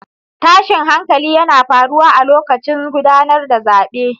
Tashin hankali yana faruwa a lokacin gudanar da zabe